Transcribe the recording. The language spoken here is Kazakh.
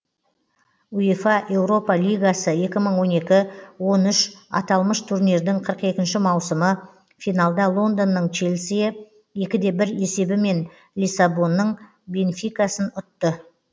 уефа еуропа лигасы екі мың он екі он үш аталмыш турнирдің қырық екінші маусымы финалда лондонның челсиі екі де бір есебімен лиссабонның бенфикасын ұтты